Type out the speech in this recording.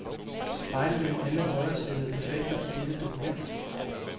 Spejlvend alle højrestillede effekter i dette dokument.